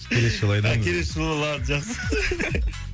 келесі жолы а келесі жолы жақсы